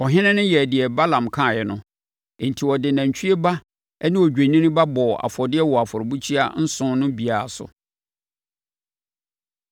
Ɔhene no yɛɛ deɛ Balaam kaeɛ no, enti ɔde nantwie ba ne odwennini ba bɔɔ afɔdeɛ wɔ afɔrebukyia nson no biara so.